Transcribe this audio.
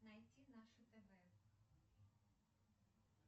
найти наше тв